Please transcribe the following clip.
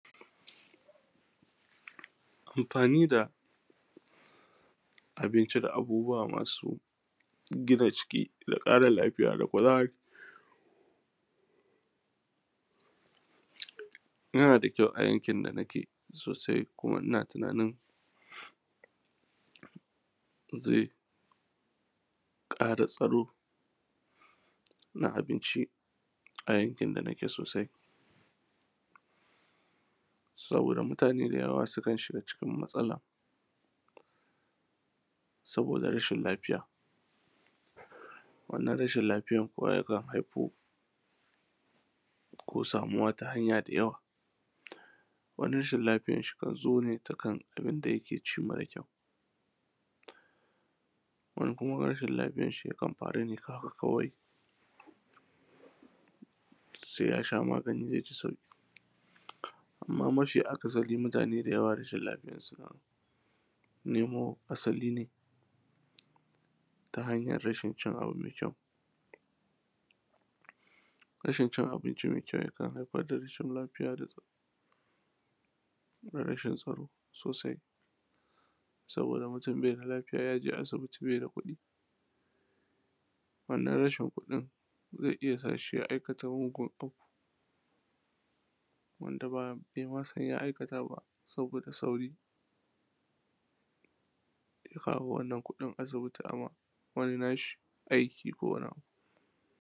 Amfani da abinci da abubuwa masu gina jiki, da ƙara lafiya, da kuzari. Yana da kyau a yankin da nike sosai kuma ina tunanin zai ƙara tsaro na abinci a yankin da nike sosai, saboda mutane da yawa sukan shiga cikin matsala, saboda rashin lafiya, wannan rashin lafiyan kuwa ya haifo, ko samuwa ta hanya da yawa. Wani rashin lafiyan kan zo ne ta kan abinda yike ci mare kyau, wani kuma rashin lafiyanshi ya kan faru ne haka kawai, sai ya sha magani zai ji sauƙi, amma mafi akasari mutane da yawa rashin lafiyansu na nemo asali ne ta hanyar rashin cin abu mai kyau. Rashin cin abincin mai kyau ya kan haifar da rashin lafiya da tsa, da rashin tsaro sosai, saboda mutum beda lafiya ya je asibiti bai da kuɗi, wannan rashin kuɗin zai iya sa shi ya aikata mugun abu wanda bai ma san ya aikata ba saboda sauri, zai kawo wannan kuɗin asibiti aima wani nashi aiki ko wani.